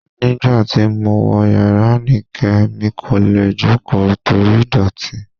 Nígbà tí mo wọ̀ yàrá Anike, mi kò lè jókòó torí ìdọ̀tí